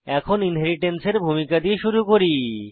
এখন ইনহেরিট্যান্স এর ভূমিকা দিয়ে শুরু করি